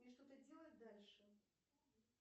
мне что то делать дальше